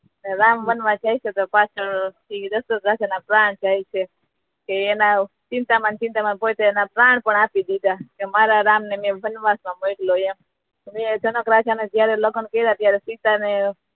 રામ વનવાસ જાય છે તો પાછળ થી દશરથ રાજા ના પ્રાણ જાય છે તે એના ચિંતા મા ને ચિંતા મા એમના પ્રાણ પણ આપી દીધા મારા રામ ને વનવાસ મા મોકલ્યો એમ અને જનક રાજા ને જ્યારે લગ્ન કીધા હતા ત્યારે સીતા ને